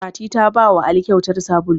Fati ta bawa ali kyautar sabulu